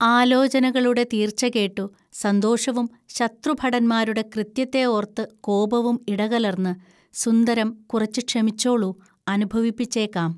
ആലോചനകളുടെ തീർച്ച കേട്ടു സന്തോഷവും ശത്രുഭടന്മാരുടെ കൃത്യത്തെ ഓർത്തു കോപവും ഇടകലർന്ന് 'സുന്ദരം, കുറച്ചു ക്ഷമിച്ചോളൂ, അനുഭവിപ്പിച്ചേക്കാം